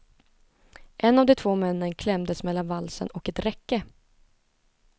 En av de två männen klämdes mellan valsen och ett räcke.